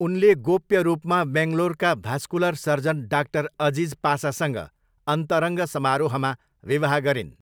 उनले गोप्य रूपमा बेङ्गलोरका भास्कुलर सर्जन डाक्टर अजिज पासासँग अन्तरङ्ग समारोहमा विवाह गरिन्।